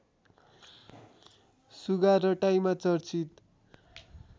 सुगा रटाइमा चर्चित